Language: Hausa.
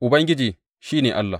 Ubangiji, shi ne Allah!